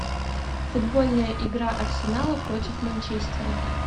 футбольная игра арсенала против манчестера